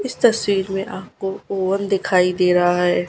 इस तस्वीर में आपको ओवन दिखाई दे रहा है।